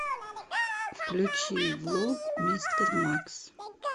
включи влог мистер макс